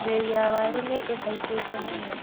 Mbei ya waru nĩihaicĩte mũno